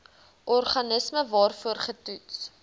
organisme waarvoor getoets